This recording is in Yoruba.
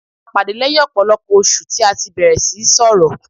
A pàdé lẹ́yìn ọ̀pọ̀lọpọ̀ oṣù tí a tí bẹ̀rẹ̀ síí sọrọ̀.